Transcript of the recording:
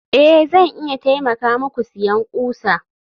a, Zan iya taimaka muku siyan ƙusa